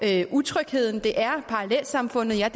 er utryghed om der er parallelsamfund jeg